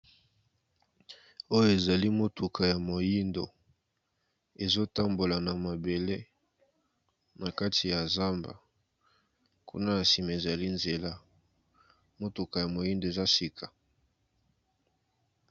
Oyo ezali motuka ya moindo, ezotambola na mabele na kati ya zamba, kuna na sima ezali nzela, motuka ya moindo eza ya sika.